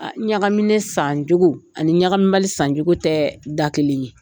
A ɲagaminen san cogo ani ɲagami bali san cogo tɛ da kelen ye.